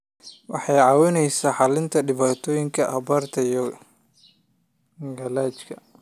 Waxay caawisaa xallinta dhibaatooyinka abaarta iyo gaajada.